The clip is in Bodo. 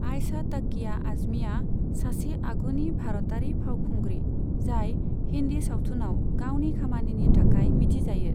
आइशा टाकिया आजमीआ सासे आगुनि भारतारि फावखुंग्रि, जाय हिन्दी सावथुनआव गावनि खामानिनि थाखाय मिथिजायो।